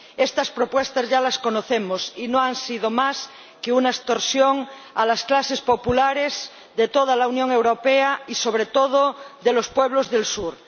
Estas propuestas ya las conocemos, y no han sido más que una extorsión a las clases populares de toda la Unión Europea y, sobre todo, de los pueblos del Sur.